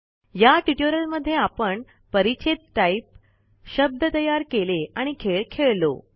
या टयूटोरीयल मध्ये आपण परिच्छेद टाईप शब्द तयार केले आणि खेळ खेळलो